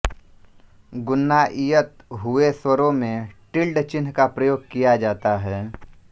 ग़ुन्नाइयत हुए स्वरों में टिल्ड चिन्ह का प्रयोग किया जाता है